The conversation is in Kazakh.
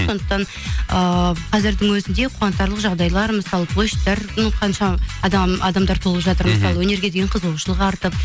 сондықтан ыыы қазірдің өзінде қуантарлық жағдайлар мысалы площадьтар ну қанша адамдар толып жатыр мысалы мхм өнерге деген қызығушылық артып